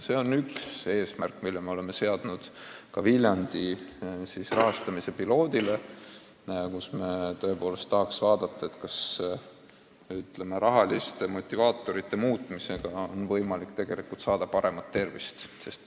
See on üks eesmärk, mille me oleme seadnud ka Viljandi rahastamise piloodi puhul: me tõepoolest tahaks näha, kas rahaliste motivaatorite muutmisega on võimalik tagada inimeste parem tervis.